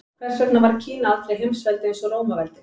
Hvers vegna varð Kína aldrei heimsveldi eins og Rómaveldi?